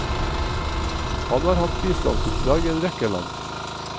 Han har hatt bistandsoppdrag i en rekke land.